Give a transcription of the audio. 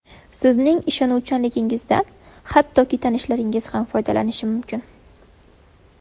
Sizning ishonuvchanligingizdan hattoki tanishlaringiz ham foydalanishlari mumkin.